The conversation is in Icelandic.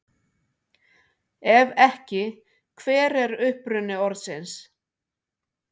Ef ekki, hver er uppruni orðsins?